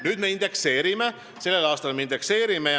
Nüüd me sellel aastal indekseerime.